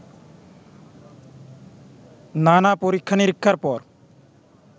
নানা-পরীক্ষা নিরীক্ষার পর